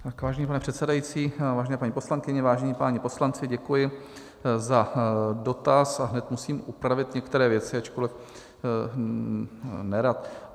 Vážený pane předsedající, vážené paní poslankyně, vážení páni poslanci, děkuji za dotaz a hned musím upravit některé věci, ačkoliv nerad.